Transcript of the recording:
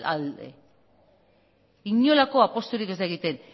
alde inolako apusturik ez da egiten